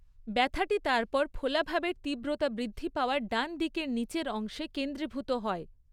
ব্যথাটি তারপর ফোলাভাবের তীব্রতা বৃদ্ধি পাওয়া ডান দিকের নীচের অংশে 'কেন্দ্রীভূত' হয়।